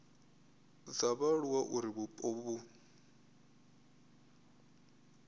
dza vhaaluwa uri vhupo vhu